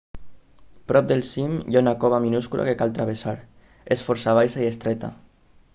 prop del cim hi ha una cova minúscula que cal travessar és força baixa i estreta